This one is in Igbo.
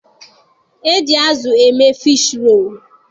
E ji azụ eme fishi roolu.